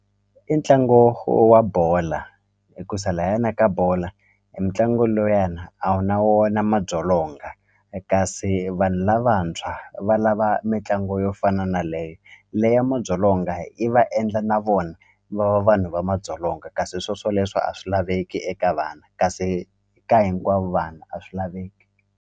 I ntlangu wa bola hi ku sa layana yona ka bola e ntlangu lowuyani a wu na wona madzolonga kasi vanhu lavantshwa valava mitlangu yo fana na leye le ya madzolonga yi va endla na vona va va vanhu va madzolonga kasi swo swoleswo a swi laveki eka vana kasi ka hinkwavo vanhu a swi laveki.